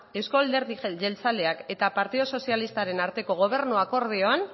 euzko alderdi jeltzaleak eta partidu sozialistaren arteko gobernu akordioan